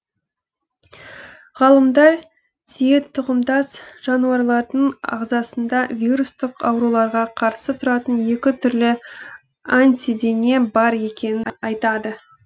ғалымдар түйетұқымдас жануарлардың ағзасында вирустық ауруларға қарсы тұратын екі түрлі антидене бар екенін айтады